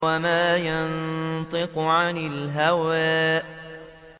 وَمَا يَنطِقُ عَنِ الْهَوَىٰ